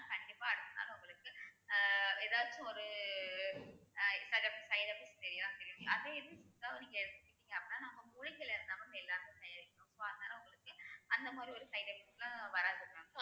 கண்டிப்பா அடுத்த நாள் உங்களுக்கு ஆஹ் எதாச்சும் ஒரு ஆஹ் side effect தெரியும் அதே இது சித்தாவ நீங்க எடுத்துகிட்டீங்க அப்படின்னா நாங்க மூலிகைல தயாரிக்கறோம் so அதனால உங்களுக்கு அந்த மாதிரி ஒரு side effect லாம் வராது mam